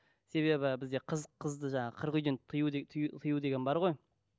себебі бізде қыз қызды жаңа қырық үйден тыю тыю тыю деген бар ғой